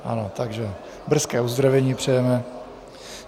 Ano, takže brzké uzdravení přejeme.